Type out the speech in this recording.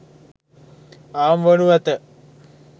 අවම වනු ඇත.